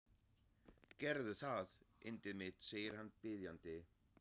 Gerðu það, yndið mitt, segir hann biðjandi.